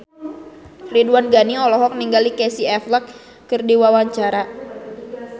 Ridwan Ghani olohok ningali Casey Affleck keur diwawancara